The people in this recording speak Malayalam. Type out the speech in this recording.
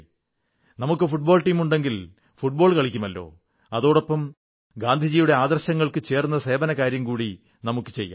നമ്മുടെ ഫുട്ബോൾ ടീമുണ്ടെങ്കിൽ ഫുട്ബോൾ കളിക്കുമല്ലോ അതോടൊപ്പം ഗാന്ധിയുടെ ആദർശങ്ങൾക്കു ചേർന്ന സേവനകാര്യം കൂടി ചെയ്യാം